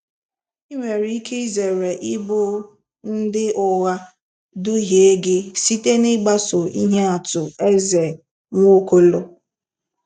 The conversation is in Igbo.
Ị nwere ike zere ịbụ ndị ụgha duhie gị site n'ịgbaso ihe atụ Eze Nwaokolo.